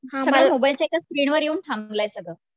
सगळं मोबाइल च्या एक स्क्रीनवर येऊन थांबलय सगळं